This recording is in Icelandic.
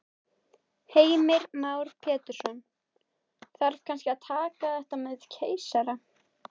Heimir Már Pétursson: Þarf kannski að taka þetta með keisara?